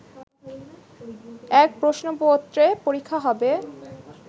এক প্রশ্নপত্রে পরীক্ষা হবে